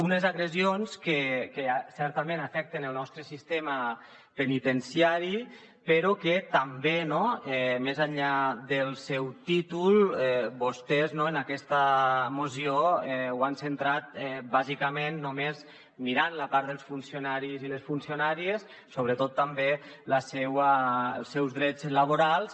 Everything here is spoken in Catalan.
unes agressions que certament afecten el nostre sistema penitenciari però que també més enllà del seu títol vostès no en aquesta moció ho han centrat bàsicament només mirant la part dels funcionaris i les funcionàries sobretot també els seus drets laborals